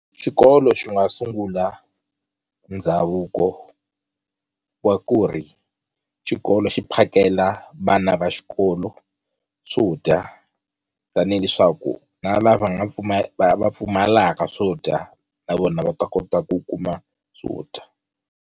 Xikolo xi nga sungula ndhavuko wa ku ri xikolo xi phakela vana va xikolo swo dya tani hileswaku na lava nga pfumala va pfumalaka swo dya na vona va ta kota ku kuma swo dya.